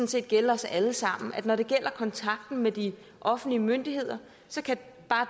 set gælde os alle sammen at når det gælder kontakten med de offentlige myndigheder kan bare